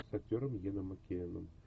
с актером йеном маккелленом